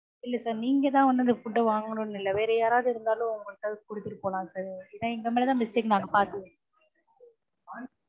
இல்ல sir நீங்க தான் வந்து அந்த food அ வாங்கணும்னு இல்ல. வேற யாராவது இருந்தாலும் அவங்க கிட்ட கொடுத்துட்டு போலாம் sir ஏன்னா எங்க மேல தான் mistake